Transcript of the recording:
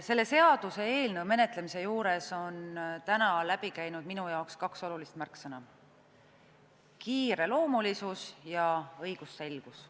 Selle seaduseelnõu menetlemisel on täna läbi käinud minu jaoks kaks olulist märksõna: kiireloomulisus ja õigusselgus.